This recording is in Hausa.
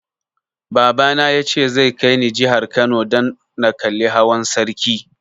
Baba na ya ce zai kai ni jihar Kano dan na kalli hawan sarki